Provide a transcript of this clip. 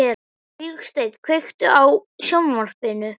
Vígsteinn, kveiktu á sjónvarpinu.